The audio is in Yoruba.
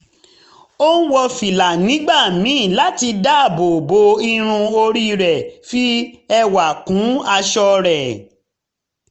ó ń wọ fìlà nígbà míì láti dáàbò bo irun orí rẹ̀ fi ẹwà kún aṣọ rẹ̀